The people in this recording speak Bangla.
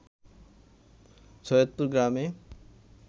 সৈয়দপুর গ্রামে